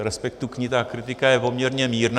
Z respektu k ní ta kritika je poměrně mírná.